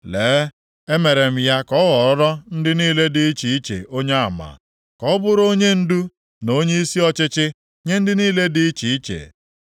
Lee, emere m ya ka ọ ghọọrọ ndị niile dị iche iche onyeama, ka ọ bụrụ onyendu na onyeisi ọchịchị nye ndị niile dị iche iche.